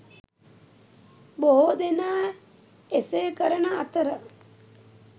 බොහෝ දෙනා එසේ කරන අතර